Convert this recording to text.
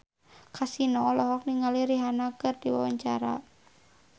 Kasino olohok ningali Rihanna keur diwawancara